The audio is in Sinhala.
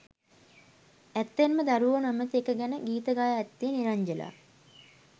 ඇත්තෙන්ම දරුවෝ නොමැති එක ගැන ගීත ගයා ඇත්තේ නිරංජලා.